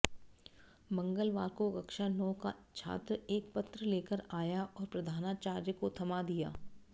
मंगलवार को कक्षा नौ का छात्र एक पत्र लेकर आया और प्रधानाचार्य को थमा दिया